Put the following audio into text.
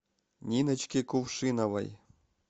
ниночке кувшиновой